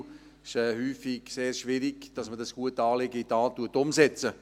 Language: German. Es ist häufig sehr schwierig, dieses gute Anliegen in die Tat umzusetzen.